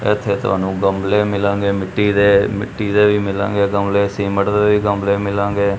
ਇਥੇ ਤੁਹਾਨੂੰ ਗਮਲੇ ਮਿਲਣਗੇ ਮਿੱਟੀ ਦੇ ਮਿੱਟੀ ਦੇ ਵੀ ਮਿਲਣਗੇ ਗਮਲੇ ਸੀਮੈਂਟ ਦੇ ਵੀ ਗਮਲੇ ਮਿਲਣਗੇ।